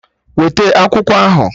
Weta akwụkwọ ahụ!